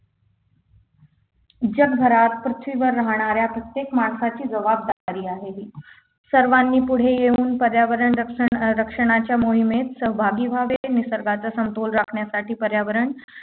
जगभरात पृथ्वीवर राहणाऱ्या प्रत्येक माणसाची जबाबदारी आहे ही सर्वांनी पुढे येऊन पर्यावरण रक्षण अं रक्षणाच्या मोहिमेत सहभागी व्हावे निसर्गाचा समतोल राखण्यासाठी पर्यावरण